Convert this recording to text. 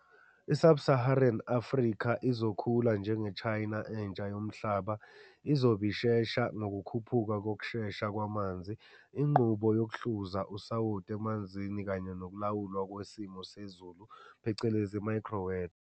I-Sub-Saharan Africa izokhula njenge-China entsha yomhlaba izobe ishesha ngokukhuphuka ngokushesha kwamanzi, inqubo yokuhluza usawoti emanzini kanye nokulawulwa kwesimo sezilu phecelezi i-micro-weather.